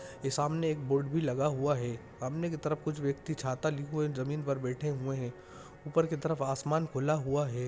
ये सामने एक बोर्ड भी लगा हुआ हैं सामने की तरफ कुछ व्यक्ति छाता लिये हुए ज़मीन पर बैठे हुए हैं ऊपर की तरफ आसमान खुला हुआ हैं।